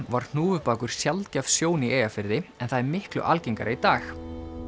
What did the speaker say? var hnúfubakur sjaldgæf sjón í Eyjafirði en það er miklu algengara í dag